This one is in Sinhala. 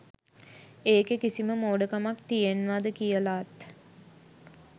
ඒකෙ කිසිම මෝඩ කමක් තියෙන්වද කියලාත්